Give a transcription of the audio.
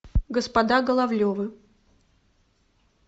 господа головлевы